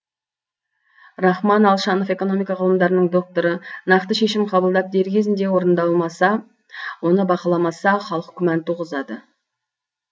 рахман алшанов экономика ғылымдарының докторы нақты шешім қабылдап дер кезінде орындалмаса оны бақыламаса халық күмән туғызады